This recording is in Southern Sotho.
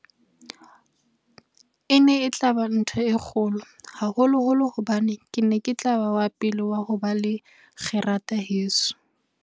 E ne e tla ba ntho e kgolo, haholoholo hobane ke ne ke tla ba wa pele wa ho ba le kgerata heso.